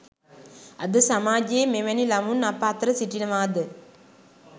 අද සමාජයේ මෙවැනි ළමුන් අප අතර සිටිනවාද